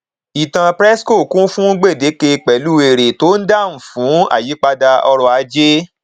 ìtàn presco kún fún gbèdeke pẹlú èrè tó ń dáhùn sí ayípadà ọrọ ajé